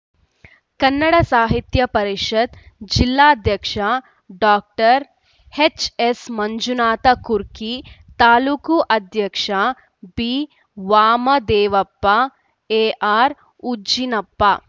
ಕನ್ನಡ ಸಾಹಿತ್ಯ ಪರಿಷತ್ ಜಿಲ್ಲಾಧ್ಯಕ್ಷ ಡಾಕ್ಟರ್ ಎಚ್‌ಎಸ್‌ಮಂಜುನಾಥ ಕುರ್ಕಿ ತಾಲೂಕು ಅಧ್ಯಕ್ಷ ಬಿವಾಮದೇವಪ್ಪ ಎಆರ್‌ಉಜ್ಜಿನಪ್ಪ